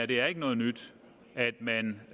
det er ikke noget nyt at man